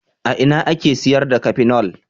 A ina ake sayar da Kafinol.